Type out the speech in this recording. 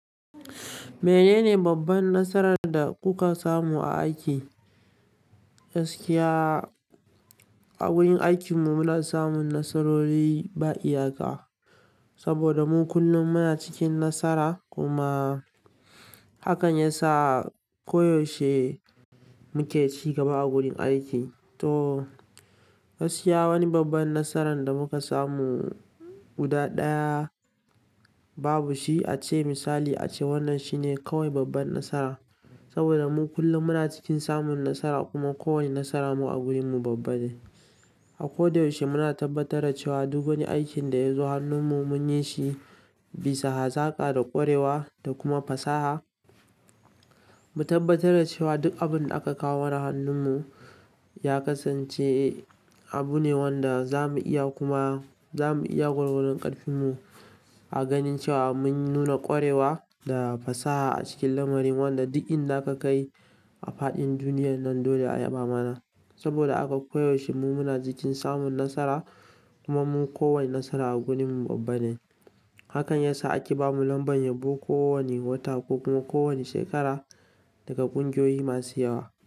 Menene babban nasarar da kuka samu a aiki? Gaskiya a wurin aikin mu muna samun nasarori ba iyaka, saboda mu kullum muna cikin nasara kuma hakan yasa koyaushe muke ci gaba a gurin aiki. To gaskiya wani babban nasaran da muka samu guda ɗaya babu shi a ce misali a ce wannan shine kawai babban nasara. Saboda mu kullum muna cikin samun nasara kuma kowane nasara mu a wurin mu babba ne. A ko da yaushe muna tabbatar da cewa duk wani aiki da zo hannunmu munyi shi bisa hazaƙa da ƙwarewa da kuma fasaha mu tabbatar da cewa duk abunda akawo mana hannunmu ya kasance abu ne wanda za mu iya kuma za mu iya gwargwadon ƙarfin mu a ganin cewa mun nuna ƙwarewa da fasaha a cikin lamarin wanda duk inda ka kai a faɗin duniyar nan dole a yaba mana. Saboda aka koyaushe mu muna cikin samun nasara kuma mu kowane nasara a gurin mu babba ne. Hakan yasa ake ba mu lambar yabo kowane wata ko kuma kowane shekara daga ƙungiyoyi masu yawa.